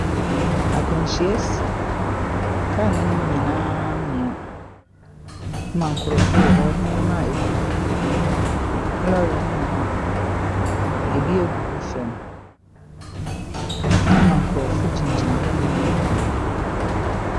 Akwanhyia asi. Kaa no anim nyinaa amoa ma nkurɔfo wɔ hɔ. Nneɛma a ɛgugu lɔre no mu no, ɛbi agugu fam ama nkurɔfo gyinagyina hɔ bebree.